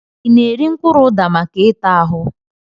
I na-eri mkpụrụ ụda maka ịta ahụ?